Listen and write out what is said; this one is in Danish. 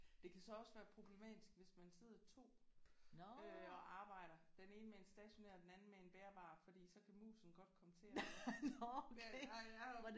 Det kan så også være problematisk hvis man sidder to øh og arbejder. Den ene med en stationær den anden med en bærbar fordi så kan musen godt komme til at